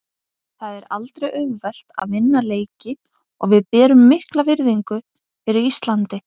Það er aldrei auðvelt að vinna leiki og við berum mikla virðingu fyrir Íslandi.